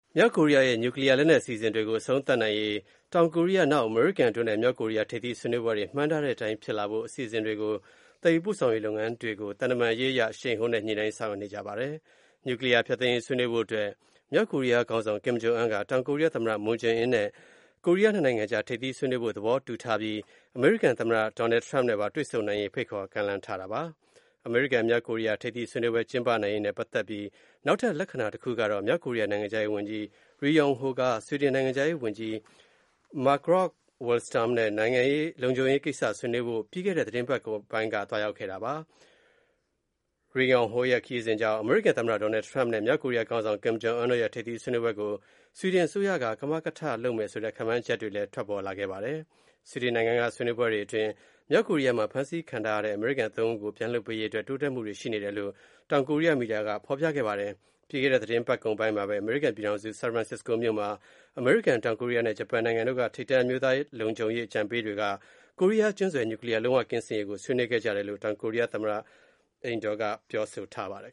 မြောက်ကိုရီးယားရဲ့ နျူးကလီးယား လက်နက်အစီအစဉ်တွေအဆုံးသတ်နိုင်ရေးရည်ရွယ်တဲ့တောင် နဲ့ မြောက်ကိုရီးယား ၂နိုင်ငံထိပ်သီးဆွေးနွေးပွဲ၊ အမေရိကန်နဲ့ မြောက်ကိုရီးယား ထိပ်သီး ဆွေးနွေးပွဲတွေ ဘယ်နေရာမှာ ဘယ်လိုအစီအစဉ်တွေနဲ့သတ်မှတ်ကျင်းပမယ်ဆိုတာကို သံတမန်ရေး အရ အရှိန်မြှင့်ညှိနှိုင်းနေကြပါတယ်။ နျူးကလီးယား ဖျက်သိမ်းရေး ဆွေးနွေးဖို့ အတွက် မြောက်ကိုရီးယား ခေါင်းဆောင် ကင်ဂျုံအွန်းက တောင်ကိုရီးယား သမ္မတ မွန်းဂျေအင်းနဲ့ ကိုရီးယား နှစ်နိုင်ငံကြား ထိပ်သီးဆွေးနွေးဖို့ သဘောတူထားပြီး အမေရိကန် သမ္မတ Donald Trump နဲ့ပါတွေ့ဆုံ နိုင်ရေး ဖိတ်ခေါ် ကမ်းလှမ်းထားတာပါ။ အမေရိကန် - မြောက်ကိုရီးယား ထိပ်သီး ဆွေးနွေးပွဲ ကျင်းပနိုင်ရေးနဲ့ ပတ်သက်ပြီး နောက်ထပ် လက္ခဏာ တခုကတော့ မြောက်ကိုရီးယား နိုင်ငံခြားရေး ဝန်ကြီး Ri Yong Ho က ဆွီဒင်နိုင်ငံခြားရေး ဝန်ကြီး Margot Wallstrom နဲ့ လုံခြုံရေးကိစ္စ ဆွေးနွေးဖို့ ပြီးခဲ့တဲ့ သတင်းပတ်ကုန်ပိုင်းက သွားရောက်ခဲ့တာပါ။ Ri Yong Ho ရဲ့ ခရီးစဉ်ကြောင့် အမေရိကန် သမ္မတ Donald Trump နဲ့ မြောက်ကိုရီးယား ခေါင်းဆောင် ကင်ဂျုံအွန်းတို့ရဲ့ ထိပ်သီးဆွေးနွေးပွဲကို ဆွီဒင် အစိုးရက ကမကထ လုပ်မယ်ဆိုတဲ့ ခန့်မှန်းချက်တွေ ထွက်ပေါ်လာခဲ့တာပါ။ ဆွီဒင်နိုင်ငံက ဆွေးနွေးပွဲတွေ အတွင်း မြောက်ကိုရီးယားမှာ ဖမ်းဆီးခံထားရတဲ့ အမေရိကန် သုံးဦးကို ပြန်လွှတ်ပေးရေး အတွက် တိုးတက်မှုတွေ ရှိနေတယ်လို့ တောင်ကိုရီးယား မီဒီယာက ဖော်ပြပါတယ်။ ပြီးခဲ့တဲ့ သတင်းပတ်ကုန်ပိုင်းမှာဘဲ အမေရိကန် ပြည်ထောင်စု ဆန်ဖရန်စစ္စကိုမြို့မှာ အမေရိကန်၊ တောင်ကိုရီးယားနဲ့ ဂျပန်နိုင်ငံတို့က ထိပ်တန်း အမျိုးသားလုံခြုံရေး အကြံပေးတွေက ကိုရီးယား ကျွန်းဆွယ် နျူးကလီးယား လုံး၀ ကင်းစင်ရေးကို ဆွေးနွေးခဲ့ကြတယ်လို့ တောင်ကိုရီးယား သမ္မတ အိမ်တော်က ပြောဆိုထားပါတယ်